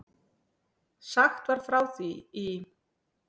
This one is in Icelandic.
Sagt var frá því í